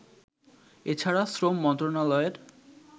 এছাড়া শ্রম মন্ত্রনালয়ের